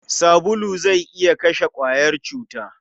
Sabulu zai iya kashe ƙwayar cuta.